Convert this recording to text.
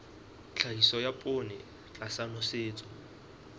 tlhahiso ya poone tlasa nosetso